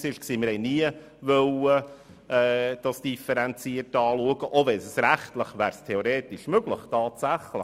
Wir wollten die beiden Kategorien nicht unterschiedlich betrachten, auch wenn das rechtlich theoretisch möglich wäre.